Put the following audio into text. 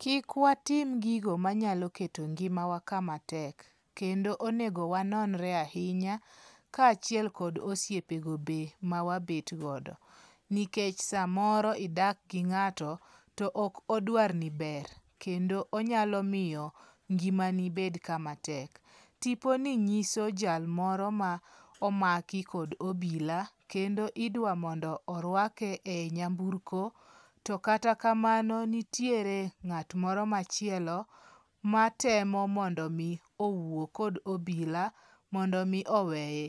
Kik watim gigo manyalo keto ngimawa kamatek, kendo onego wanonre ahinya kachiel kod osiepogo be mawabet godo, nikech samoro idak gi nga'to to ok odwarni ber, kendo onyalo miyo ngi'mani bed kamatek, tiponi nyiso jalmoro ma omaki kod obila kendo idwamondo orwake e nyamburko to kata kamano nitiere nga't moro machielo matemo mondo mi owuok kod obila mondo mi oweye,